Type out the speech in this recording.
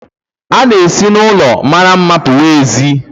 A na-esi n'ụlọ mara mma pụwa ézí